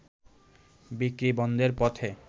বিক্রি বন্ধের পথে